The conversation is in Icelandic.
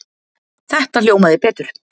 Þetta hljómaði betur.